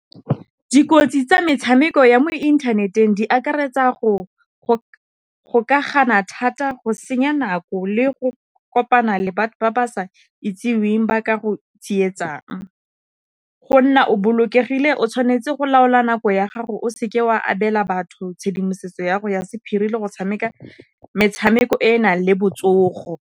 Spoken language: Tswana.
Dikotsi tsa metshameko ya mo inthaneteng di akaretsa go ka gana thata, go senya nako le go kopana le batho ba ba sa itseweng ba ka go tsietsang. Go nna o bolokegile o tshwanetse go laola nako ya gago, o seke wa abela batho tshedimosetso ya gago ya sephiri le go tshameka metshameko e e nang le botsogo.